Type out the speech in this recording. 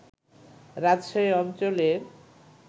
রাজশাহী অঞ্চলের